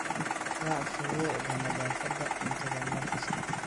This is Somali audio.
Raac shuruucda nadaafadda cuntada mar kasta.